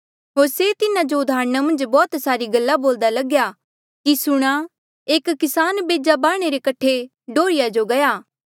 होर से तिन्हा जो उदाहरणा मन्झ बौह्त सारी गल्ला बोल्दा लगेया कि सुणा एक किसान बेजा बाह्णे रे कठे डोर्हीया जो गया